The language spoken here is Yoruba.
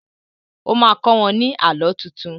O má kọ́ wọ́n ní Àlọ́ tuntun